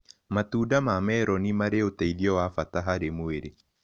Matunda ma meronĩ marĩ ũteĩthĩo wa bata harĩ mwĩrĩ